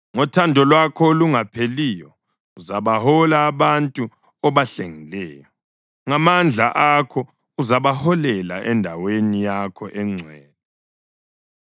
Ngothando lwakho olungapheliyo uzabahola abantu obahlengileyo. Ngamandla akho uzabaholela endaweni yakho engcwele.